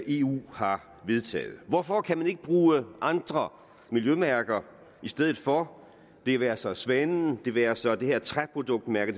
eu har vedtaget hvorfor kan man ikke bruger andre miljømærker i stedet for det være sig svanen det være sig det her træproduktmærke